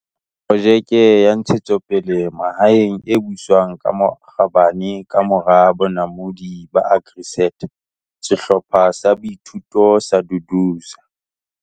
Projeke ya ntshetsopele Mahaeng, e Buswang ka bokgabane ka Mora Bonamodi ba AgriSeta- Sehlopha sa Boithuto sa Duduza.